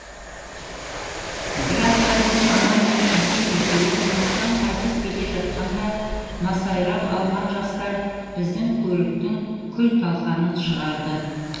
бір апта бұрын анам мен әкем екеуі қонақтан қайтып келе жатқанда масайрап алған жастар біздің көліктің күл талқанын шығарды